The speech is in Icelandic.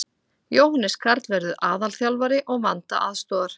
Jóhannes Karl verður aðalþjálfari og Vanda aðstoðar.